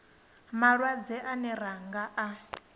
malwadze ane ra nga a